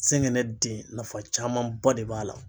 zɛngɛnɛ den nafa camanba de b'a la.